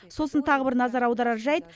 сосын тағы бір назар аударар жайт